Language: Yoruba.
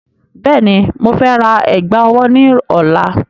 Bẹ́ẹ̀ni, mo fẹ́ ra ẹ̀gbà ọwọ́ náà ní ọ̀la.